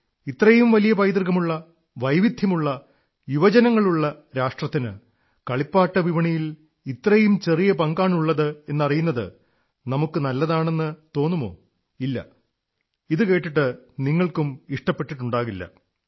ഇത്രയും വലിയ പൈതൃകമുള്ള വൈവിധ്യമുള്ള യുവ ജനസംഖ്യയുള്ള രാഷ്ട്രത്തിന് കളിപ്പാട്ട വിപണിയിൽ ഇത്രയും ചെറിയ പങ്കാണുള്ളത് എന്നറിയുന്നത് നമുക്ക് കൊള്ളാമെന്നു തോന്നുമോ ഇല്ല ഇതുകേട്ടിട്ട് നിങ്ങളും ഇഷ്ടപ്പെട്ടിട്ടുണ്ടാവില്ല